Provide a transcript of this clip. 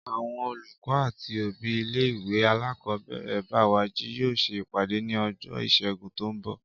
Àwọn olùkọ́ àti òbí ilé ìwé alákọ̀ọ́bẹ̀rẹ̀ Bẹ́wàjí yóò ṣe ìpàdé ní ọjọ́ Ìṣẹ́gun tó ń bọ̀